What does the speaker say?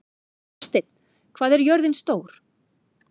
Þórsteinn, hvað er jörðin stór?